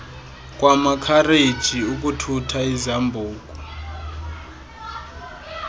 kwamakhareji ukuthutha izambuku